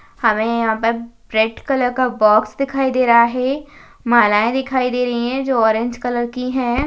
हमें यहां पर रेड कलर का बॉक्स दिखाई दे रहा है मालाएं दिखाई दे रही है जो ऑरेंज कलर की है।